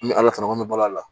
N bɛ ala fara n bɛ balo a la